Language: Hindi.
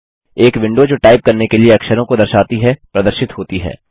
एक विंडो जो टाइप करने के लिए अक्षरों को दर्शाती है प्रदर्शित होती है